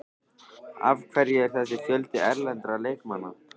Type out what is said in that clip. Af hverju er þessi fjöldi erlendra leikmanna?